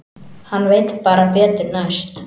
Hann veit bara betur næst.